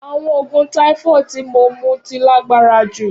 Awọn oogun typhoid ti mo mu ti lagbara ju.